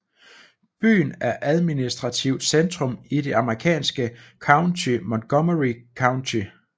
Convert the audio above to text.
Byen er administrativt centrum i det amerikanske county Montgomery County